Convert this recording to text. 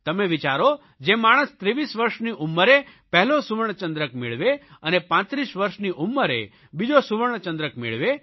તમે વિચારો જે માણસ 23 વરસની ઉંમરે પહેલો સુવર્ણચંદ્રક મેળવે અને 35 વર્ષની ઉંમરે બીજો સુવર્ણચંદ્રક મેળવે